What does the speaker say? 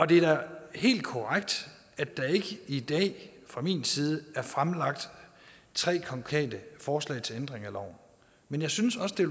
det er da helt korrekt at der ikke i dag fra min side er fremsat tre konkrete forslag til en ændring af loven men jeg synes også det